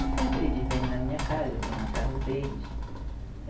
E sempre eles vêm na minha casa, eu vou na casa deles.